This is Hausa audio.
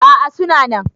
a a suna nan